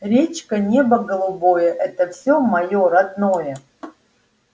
речка небо голубое это все моё родное